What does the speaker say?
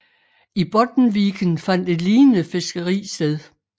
I Bottenviken fandt et lignende fiskeri sted